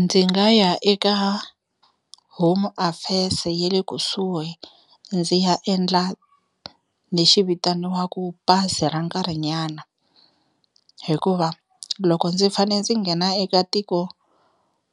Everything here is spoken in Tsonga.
Ndzi nga ya eka Home Affairs-e ya le kusuhi ndzi ya endla lexi vitaniwaka pasi ra nkarhi nyana, hikuva loko ndzi fane ndzi nghena eka tiko